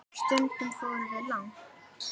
Stundum fórum við langt.